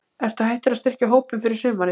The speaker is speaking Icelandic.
Ertu hættur að styrkja hópinn fyrir sumarið?